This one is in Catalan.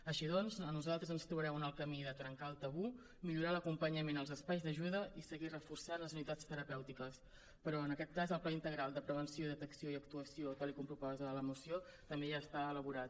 així doncs a nosaltres ens trobareu en el camí de trencar el tabú millorar l’acompanyament als espais d’ajuda i seguir reforçant les unitats terapèutiques però en aquest cas el pla integral de prevenció detecció i actuació tal com proposa la moció també ja està elaborat